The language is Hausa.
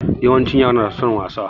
Yawancin yara na da son wasa.